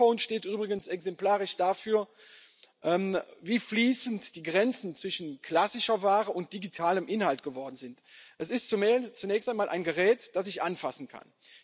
Das Smartphone steht übrigens exemplarisch dafür, wie fließend die Grenzen zwischen klassischer Ware und digitalem Inhalt geworden sind. Es ist zunächst einmal ein Gerät, das ich anfassen kann.